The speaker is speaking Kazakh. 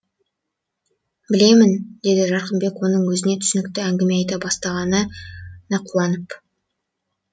білемін деді жарқынбек оның өзіне түсінікті әңгіме айта бастағанына да қуанып